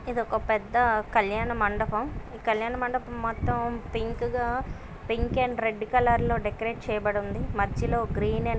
ఇదొక పెద్ద కల్యాణ మండపం. ఈ కళ్యాణ మండపం మొత్తం పింక్ గా పింక్ అండ్ రెడ్ కలర్ లో డెకరేట్ చేయబడి ఉంది. మధ్యలో గ్రీన్ అండ్ --